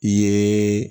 I ye